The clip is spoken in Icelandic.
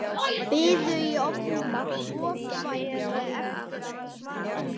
Biðu í ofvæni eftir að hann svaraði þessu.